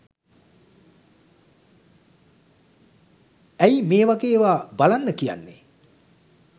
ඇයි මේ වගේ ඒවා බලන්න කියන්නෙ